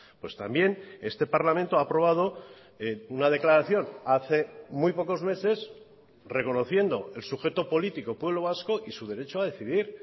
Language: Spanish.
pues también este parlamento ha aprobado una declaración hace muy pocos meses reconociendo el sujeto político pueblo vasco y su derecho a decidir